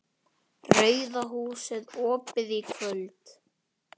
RAUÐA HÚSIÐ OPIÐ Í KVÖLD